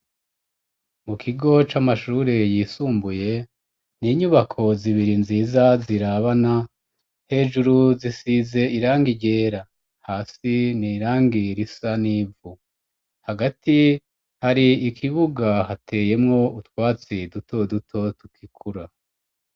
Mu kigo c'amashure yisumbuye n'inyubako zibiri nziza zirabana. Hejuru zisize iranga ryera. Hasi n'irangi risa n'ivu hagati hari ikibuga hateyemwo utwatsi duto duto tukikura.